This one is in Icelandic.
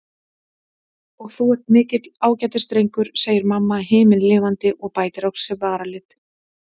Og þú ert mikill ágætisdrengur, segir mamma himinlifandi og bætir á sig varalit.